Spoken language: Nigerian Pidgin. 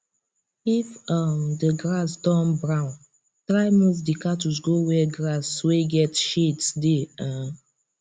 if um the grass don brown try move d cattles go where grass wey get shades dey um